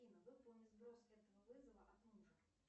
выполни сброс этого вызова от мужа